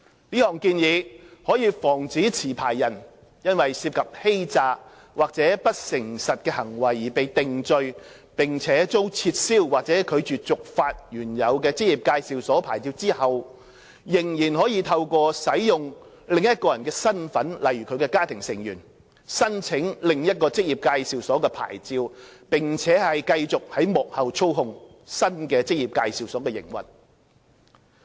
這項建議可以防止持牌人因涉及欺詐或不誠實行為而被定罪，並遭撤銷或拒絕續發原有的職業介紹所牌照後，仍可透過使用另一人的身份例如家庭成員，申請另一職業介紹所牌照，並繼續在幕後操控新的職業介紹所的營運。